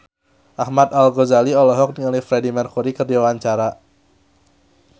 Ahmad Al-Ghazali olohok ningali Freedie Mercury keur diwawancara